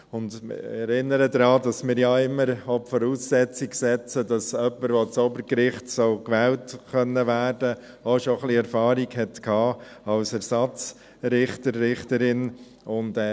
Ich erinnere daran, dass wir immer als Voraussetzung setzen, dass jemand, der ans Obergericht wählbar sein soll, auch bereits etwas Erfahrung als Ersatzrichter, Ersatzrichterin haben sollte.